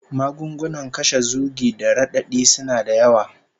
Magunguna kashe zugi da radadi suna da yawa